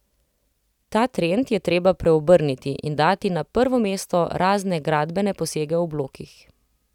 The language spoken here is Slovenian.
Ta trend je treba preobrniti in dati na prvo mesto razne gradbene posege v blokih.